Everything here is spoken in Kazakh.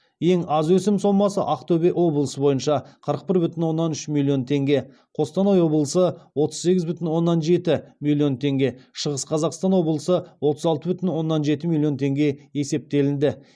ең аз өсім сомасы ақтөбе облысы бойынша қырық бір бүтін оннан үш миллион теңге қостанай облысы отыз сегіз бүтін оннан жеті миллион теңге шығыс қазақстан облысы отыз алты бүтін оннан жеті миллион теңге есептелінді